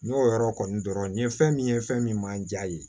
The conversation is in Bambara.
N y'o yɔrɔ kɔni dɔrɔn nin ye fɛn min ye fɛn min man ja ye